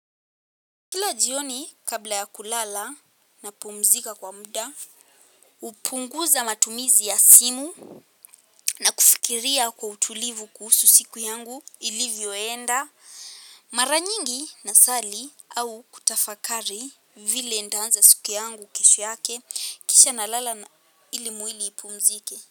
Kila jioni kabla ya kulala napumzika kwa muda, hupunguza matumizi ya simu na kufikiria kwa utulivu kuhusu siku yangu ilivyoenda, maranyingi nasali au kutafakari vile ntaanza siku yangu kesho yake kisha nalala ili mwili ipumzike.